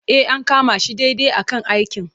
E, an kama shi daidai a kan aikin.